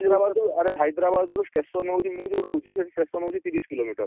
ଆରେ Hyderabad ରୁ station ହଉଛି, ମୁଁ ଯୋଉଠି ରହୁଛି ସେଠୁ station ହଉଛି ତିରିଶ kilometre ।